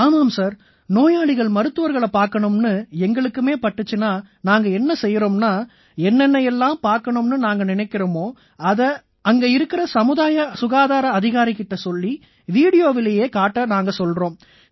ஆமாம் சார் நோயாளிகள் மருத்துவர்களைப் பார்க்கணும்னு எங்களுக்குமே தோணிச்சுன்னா நாங்க என்ன செய்யறோம்னா என்ன என்ன எல்லாம் பார்க்கணும்னு நாங்க நினைக்கறோமோ அங்க இருக்கற சமுதாய சுகாதார அதிகாரி கிட்ட சொல்லி வீடியோவிலேயே காட்ட நாங்க சொல்றோம்